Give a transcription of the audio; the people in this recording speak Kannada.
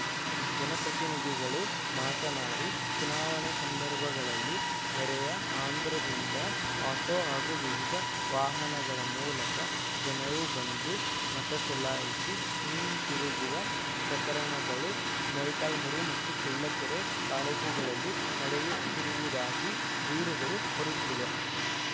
ಜನಪ್ರತಿನಿಧಿಗಳು ಮಾತನಾಡಿ ಚುನಾವಣೆ ಸಂದರ್ಭಗಳಲ್ಲಿ ನೆರೆಯ ಆಂಧ್ರದಿಂದ ಆಟೋ ಹಾಗೂ ವಿವಿಧ ವಾಹನಗಳ ಮೂಲಕ ಜನರು ಬಂದು ಮತ ಚಲಾಯಿಸಿ ಹಿಂದಿರುಗುವ ಪ್ರಕರಣಗಳು ಮೊಳಕಾಲ್ಮುರು ಮತ್ತು ಚಳ್ಳಕೆರೆ ತಾಲೂಕುಗಳಲ್ಲಿ ನಡೆಯುತ್ತಿರುವುದಾಗಿ ದೂರುಗಳು ಬರುತ್ತಿವೆ